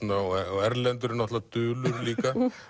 og Erlendur er náttúrulega dulur líka